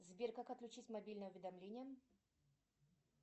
сбер как отключить мобильные уведомления